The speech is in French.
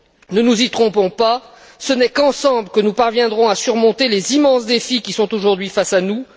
Ne nous y trompons pas, ce n'est qu'ensemble que nous parviendrons à relever les immenses défis qui sont aujourd'hui face à nous.